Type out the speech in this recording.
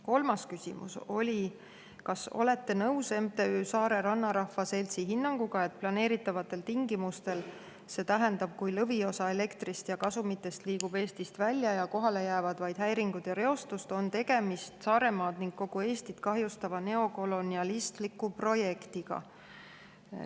Kolmas küsimus: "Kas olete nõus MTÜ Saare Rannarahva Seltsi hinnanguga, et planeeritavatel tingimustel, st kui lõviosa elektrist ja kasumitest liigub Eestist välja ja kohale jäävad vaid häiringud ja reostus, on tegemist Saaremaad ning kogu Eestit kahjustava neokolonialistliku projektiga.